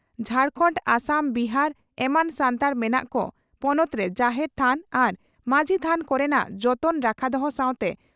ᱡᱷᱟᱲᱠᱷᱚᱸᱰ ᱟᱥᱟᱢ ᱵᱤᱦᱟᱨ ᱮᱢᱟᱱ ᱥᱟᱱᱛᱟᱲ ᱢᱮᱱᱟᱜ ᱠᱚ ᱯᱚᱱᱚᱛ ᱨᱮ ᱡᱟᱦᱮᱨ ᱛᱷᱟᱱ ᱟᱨ ᱢᱟᱡᱷᱤ ᱛᱷᱟᱱ ᱠᱚᱨᱮᱱᱟᱜ ᱡᱚᱛᱚᱱ ᱨᱟᱠᱷᱟ ᱫᱚᱦᱚ ᱥᱟᱶᱛᱮ